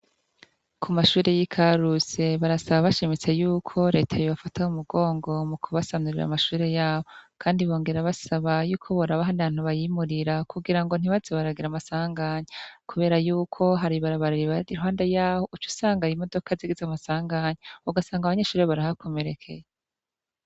Kumashure yikarusi barasaba bashimitse yuko reta yobafata mumugongo mukubasanurira amashure yabo kandi bongera basaba yuko boraba ahandi hantu bayimurira kugirango ntibaze baragira amasanganya kubera yuko hari ibarabara iruhande yaho ucusanga zigize amasanganya, ugasanga abangeshuri barahakomerekeye.